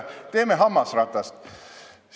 Teeme hammasratast!